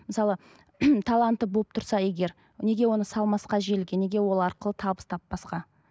мысалы таланты болып тұрса егер неге оны салмасқа желіге неге ол арқылы табыс таппасқа